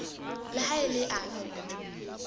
le ha e le afe